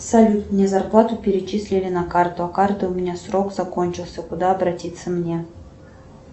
салют мне зарплату перечислили на карту а карта у меня срок закончился куда обратиться мне